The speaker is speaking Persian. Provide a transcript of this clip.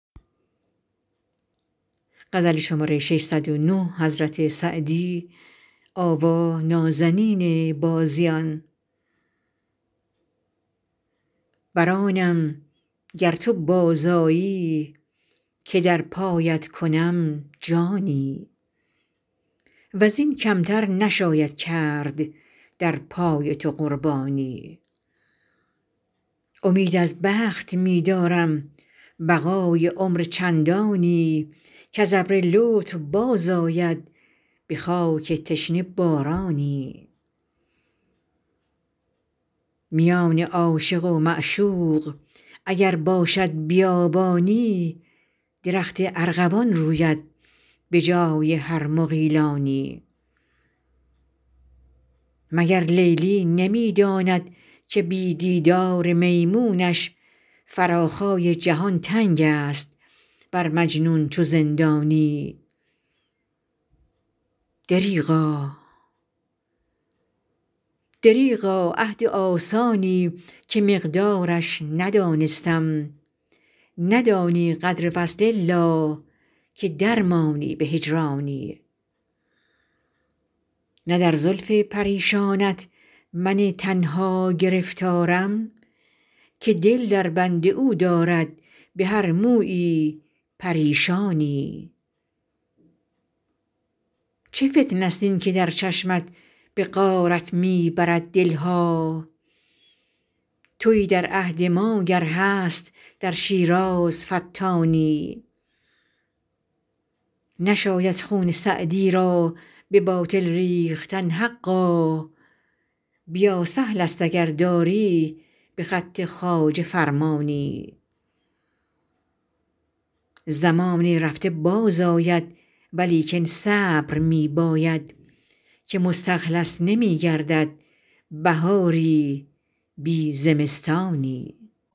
بر آنم گر تو باز آیی که در پایت کنم جانی و زین کم تر نشاید کرد در پای تو قربانی امید از بخت می دارم بقای عمر چندانی کز ابر لطف باز آید به خاک تشنه بارانی میان عاشق و معشوق اگر باشد بیابانی درخت ارغوان روید به جای هر مغیلانی مگر لیلی نمی داند که بی دیدار میمونش فراخای جهان تنگ است بر مجنون چو زندانی دریغا عهد آسانی که مقدارش ندانستم ندانی قدر وصل الا که در مانی به هجرانی نه در زلف پریشانت من تنها گرفتارم که دل در بند او دارد به هر مویی پریشانی چه فتنه ست این که در چشمت به غارت می برد دل ها تویی در عهد ما گر هست در شیراز فتانی نشاید خون سعدی را به باطل ریختن حقا بیا سهل است اگر داری به خط خواجه فرمانی زمان رفته باز آید ولیکن صبر می باید که مستخلص نمی گردد بهاری بی زمستانی